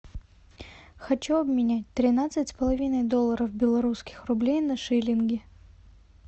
хочу обменять тринадцать с половиной долларов белорусских рублей на шиллинги